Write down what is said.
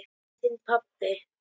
Þinn pabbi.